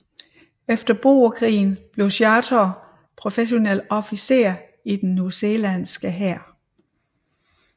Efter boerkrigen blev Chaytor professionel officer i den newzealandske hær